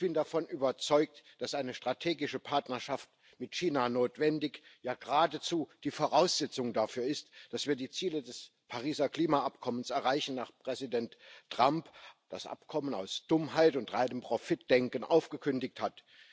Ich bin davon überzeugt, dass eine strategische Partnerschaft mit China notwendig, ja geradezu die Voraussetzung dafür ist, dass wir die Ziele des Pariser Klimaschutzübereinkommens erreichen, nachdem Präsident Trump das Abkommen aus Dummheit und reinem Profitdenken aufgekündigt hat.